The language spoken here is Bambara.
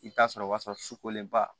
I bɛ taa sɔrɔ o b'a sɔrɔ sukolenba